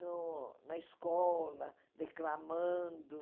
no na escola, declamando.